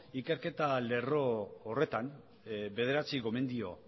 ikerketa lerro horretan bederatzi gomendio